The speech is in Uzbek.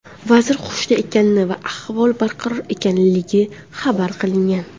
Vazir hushida ekani va ahvoli barqaror ekanligi xabar qilingan.